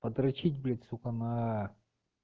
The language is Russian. подрачить блять сука на